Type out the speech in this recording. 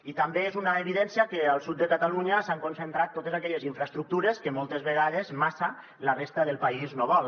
i també és una evidència que al sud de catalunya s’han concentrat totes aquelles infraestructures que moltes vegades massa la resta del país no vol